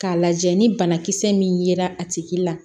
K'a lajɛ ni banakisɛ min yera a tigi la